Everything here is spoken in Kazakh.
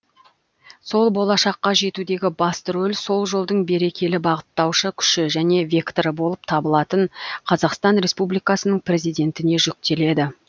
сол болашаққа жетудегі басты рөл сол жолдың берекелі бағыттаушы күші және векторы болып табылатын қазақстан республикасының президентіне жүктеледі